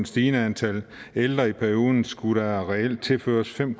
stigende antal ældre i perioden skulle der reelt tilføres fem